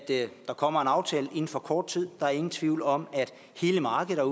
der kommer en aftale inden for kort tid der er ingen tvivl om at hele markedet